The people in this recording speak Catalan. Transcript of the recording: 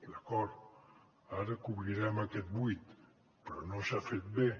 d’acord ara cobrirem aquest buit però no s’ha fet bé